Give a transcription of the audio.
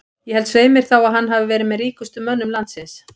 Ég held svei mér þá að að hann hafi verið með ríkustu mönnum landsins.